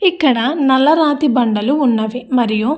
ఇక్కడ నల్ల రాతి బండలు ఉన్నవి మరియు --